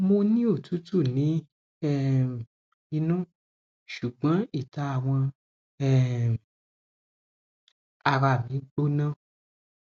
mo ni otutu ni um inu sugbon ita awọn um ara mi gbona